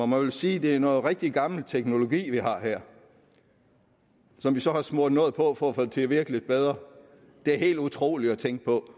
må vel sige at det er noget rigtig gammel teknologi vi har her som vi så har smurt noget på for at få til at virke lidt bedre det er helt utroligt at tænke på